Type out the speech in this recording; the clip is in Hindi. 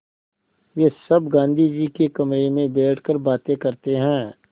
वे सब गाँधी जी के कमरे में बैठकर बातें करते हैं